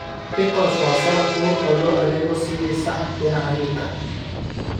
Pickles waa salad fudud oo loo adeego sidii saxan dhinaca hilibka ah.